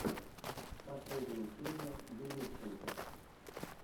последняя серия юлюбченко